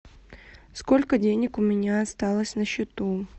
сколько денег у меня осталось на счету